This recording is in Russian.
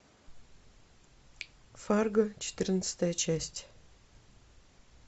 фарго четырнадцатая часть